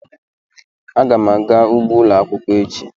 Ee, aga m aga ugbo ụlọ akwụkwọ echi